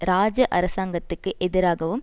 இராஜா அரசாங்கத்துக்கு எதிராகவும்